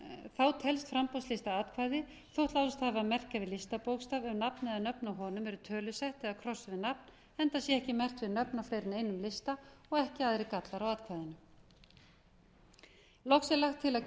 þá telst framboðslista atkvæði þótt láðst hafi að merkja við listabókstaf ef nafn eða nöfn á honum eru tölusett eða krossað við nafn enda sé ekki merkt við nöfn á fleiri en einum lista og ekki aðrir gallar á atkvæðinu loks er lagt til að